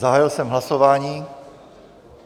Zahájil jsem hlasování.